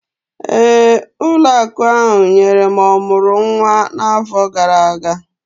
Ee, ụlọ akụ ahụ nyere m ọmụrụ nwa n'afọ gara aga